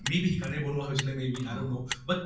may be সেই কাৰণে বনোৱা হৈছিলে may be i don't know but